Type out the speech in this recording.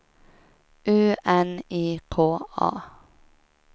U N I K A